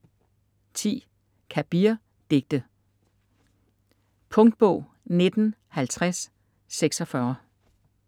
Kabir: Digte Punktbog 195046